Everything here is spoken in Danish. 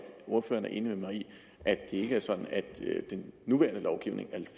ordføreren er enig med mig i at det ikke er sådan at den nuværende lovgivning